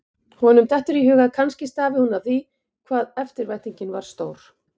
Honum dettur í hug að kannski stafi hún af því hvað eftirvæntingin var stór.